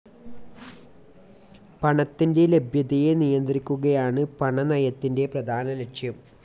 പണത്തിൻ്റെ ലഭ്യതയെ നിയന്ത്രിക്കുകയാണ് പണനയത്തിൻ്റെ പ്രധാന ലക്ഷ്യം.